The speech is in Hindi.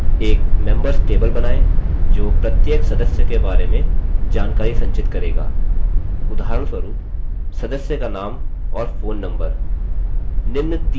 एक members table बनायें जो प्रत्येक सदस्य के बारे में जानकारी संचित करेगा उदाहरणस्वरूप सदस्य का name और phone number